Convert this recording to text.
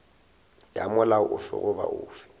ya molao ofe goba ofe